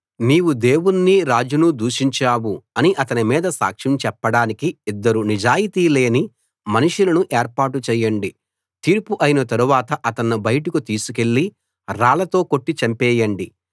నీవు దేవుణ్ణి రాజునూ దూషించావు అని అతని మీద సాక్ష్యం చెప్పడానికి ఇద్దరు నిజాయితీ లేని మనుషులను ఏర్పాటు చేయండి తీర్పు అయిన తరువాత అతన్ని బయటికి తీసికెళ్ళి రాళ్లతో కొట్టి చంపేయండి